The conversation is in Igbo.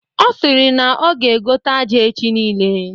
Ọ sịrị na ọ ga egote aja echi nile.